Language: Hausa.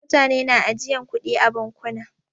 Mutane na ajiyan kuɗi a bankuna.